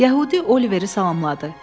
Yəhudi Oliveri salamladı.